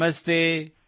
ನಮಸ್ತೇ |